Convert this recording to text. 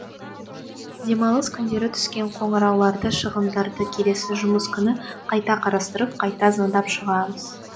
демалыс күндері түскен қоңырауларды шығымдарды келесі жұмыс күні қайта қарастырып қайта звондап шығамыз